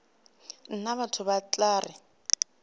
nna batho ba tla re